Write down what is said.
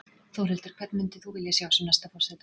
Þórhildur: Hvern myndir þú vilja sjá sem næsta forseta?